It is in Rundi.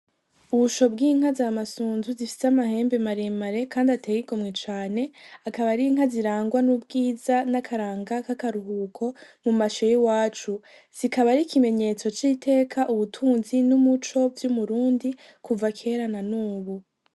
Ubushyo bw’inka z’amasunzu zifise amahembe mare mare kandi ateye igomwe cane, akaba ari inka zirangwa n’ubwiza n'akaranga k'akaruhuko mu mashyo y'iwacu. Zikaba ari ikimenyetso c'iteka, ubutunzi n’umuco vy’umurundi kuva kera na n'ubu.